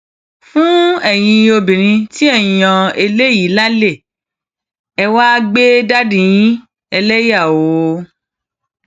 fún ẹyin obìnrin tí ẹ ń yan eléyìí lálẹ ẹ wàá gbé dádì yín ẹlẹyà oòó